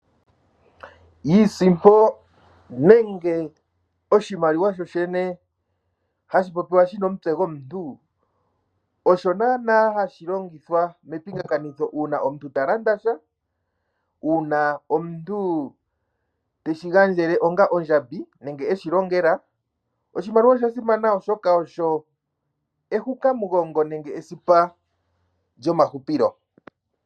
Iisimpo nenge oshimaliwa shoshene hashi popiwa shina omutse gomuntu osho naana hashi longithwa mepingakanitho uuna omuntu ta landa sha, uuna omuntu teshi gandjele onga ondjambi nenge eshi longela, oshimaliwa osha simana oshoka oyo ehukamugongo nenge esipa lyomahupilo.